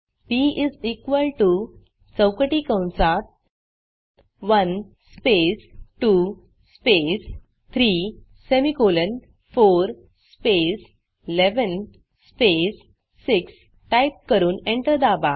P चौकटी कंसात 1 space 2 space 3 semicolon 4 space 11 space 6 type करून एंटर दाबा